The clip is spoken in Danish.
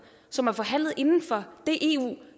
som er forhandlet inden for det eu